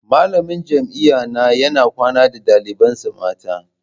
Malamin jami'an na yana kwana da dalibansa mata.